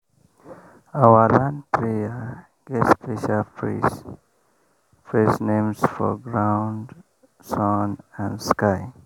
our land prayer get special praise praise names for ground sun and sky.